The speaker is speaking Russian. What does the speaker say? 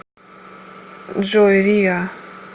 джой риа